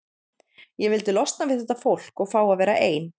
Ég vildi losna við þetta fólk og fá að vera ein.